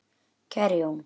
Kæri Jón.